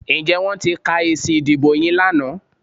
Ǹjẹ́ wọ́n ti ka èsì ìdìbò yín lánàá?